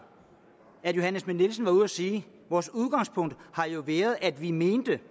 at fru johanne schmidt nielsen var ude at sige vores udgangspunkt har jo været at vi mente